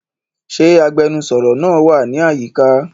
Ṣe agbẹnusọro naa wa ni ayika?